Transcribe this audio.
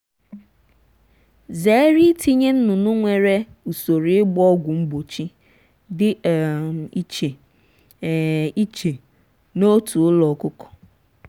zere itinye nnụnụ nwere usoro ịgba ọgwụ mgbochi dị um iche um iche n’otu ụlọ ọkụkọ.